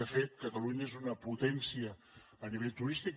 de fet catalunya és una potència a nivell turístic